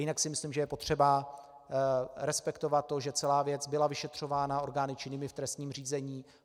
Jinak si myslím, že je potřeba respektovat to, že celá věc byla vyšetřována orgány činnými v trestním řízení.